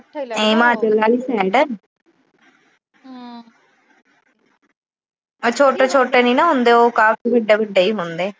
ਹਿਮਾਚਲ ਆਲੀ ਸਾਈਡ ਉਹ ਛੋਟੇ-ਛੋਟੇ ਨੀ ਨਾ ਹੁੰਦੇ, ਕਾਫੀ ਵੱਡੇ-ਵੱਡੇ ਈ ਹੁੰਦੇ ਆ।